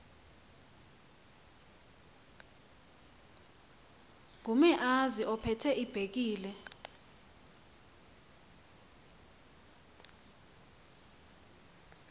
ngumeazi ophethe ibhekile